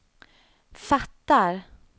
fattar